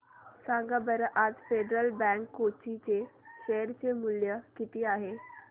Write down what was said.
सांगा बरं आज फेडरल बँक कोची चे शेअर चे मूल्य किती आहे